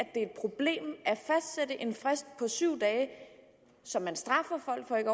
det en frist på syv dage som man straffer folk for ikke